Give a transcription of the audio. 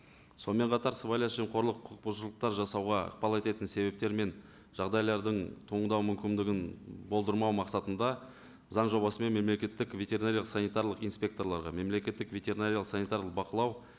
сонымен қатар қорлық құқықбұзушылықтар жасауға ықпал ететін себептер мен жағдайлардың туындау мүмкіндігін болдырмау мақсатында заң жобасы мен мемлекеттік ветеринариялық санитарлық инспекторларға мемлекеттік ветеринариялық санитарлық бақылау